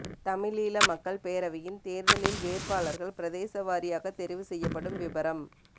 தமிழீழ மக்கள் பேரவையின் தேர்தலில் வேட்பாளர்கள் பிரதேசவாரியாக தெரிவு செய்யப்படும் விபரம்